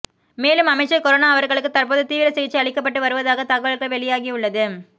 மேலும் அமைச்சர் கொரோனா அவர்களுக்கு தற்போது தீவிர சிகிச்சை அளிக்கப்பட்டு வருவதாக தகவல்கள் வெளியாகியுள்ளது